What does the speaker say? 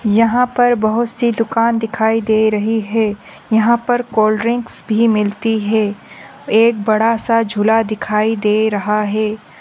यहा पर बहुत सी दुकान दिखाई दे रही हे यहा पर कोल्ड ड्रिंक्स भी मिलती है एक बड़ा सा झुला दिखाई दे रहा है